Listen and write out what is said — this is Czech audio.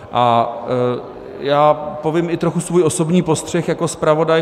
A já povím i trochu svůj osobní postřeh jako zpravodaj.